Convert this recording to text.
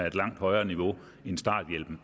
et langt højere niveau end